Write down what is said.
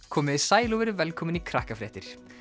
komiði sæl og verið velkomin í Krakkafréttir